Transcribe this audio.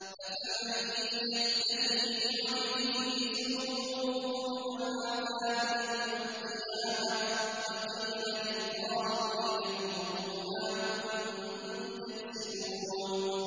أَفَمَن يَتَّقِي بِوَجْهِهِ سُوءَ الْعَذَابِ يَوْمَ الْقِيَامَةِ ۚ وَقِيلَ لِلظَّالِمِينَ ذُوقُوا مَا كُنتُمْ تَكْسِبُونَ